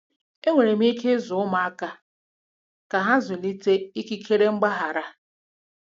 Enwere ike ịzụ ụmụaka ka ha zụlite ikike mgbaghara.